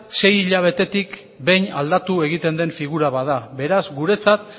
sei hilabetetik behin aldatu egiten den figura bat dela beraz guretzat